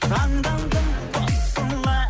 таңдандым тосыла